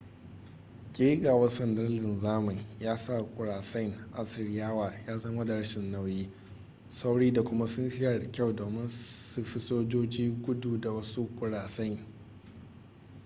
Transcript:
kegawar sandar linzamin ya sa kurasain assiriyawa ya zama da rashin nauyi sauri da kuma sun shirya da kyau domin su fi sojoji gudu da wasu kurasain